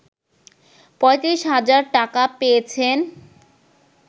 ৩৫ হাজার টাকা পেয়েছেন